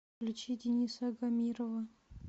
включи дениса агамирова